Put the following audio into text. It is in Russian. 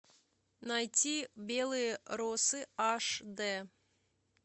найти белые росы аш д